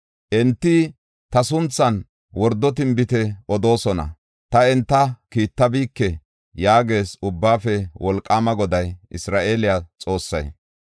Enti ta sunthan wordo tinbite odoosona; ta enta kiittabike” yaagees Ubbaafe Wolqaama Goday, Isra7eele Xoossay.